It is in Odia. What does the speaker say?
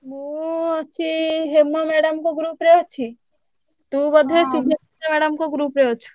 ମୁଁ ଅଛି ହେମ madam ଙ୍କ group ରେ ଅଛି। ତୁ ବୋଧେ ସୁଭଦ୍ରା madam ଙ୍କ group ରେ ଅଛୁ।